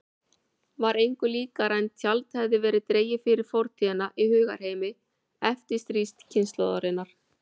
Var engu líkara en tjald hefði verið dregið fyrir fortíðina í hugarheimi eftirstríðskynslóðarinnar.